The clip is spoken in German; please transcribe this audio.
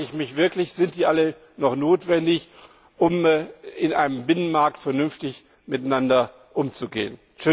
Da frage ich mich wirklich Sind die alle noch notwendig, um in einem Binnenmarkt vernünftig miteinander umzugehen?